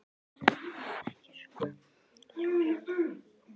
Hún hafði ekki svona láréttan húmor.